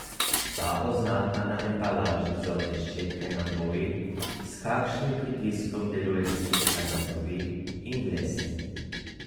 Ta oznaka na embalaži zobne ščetke nam pove, s kakšnim pritiskom deluje ščetka na zobe in dlesni.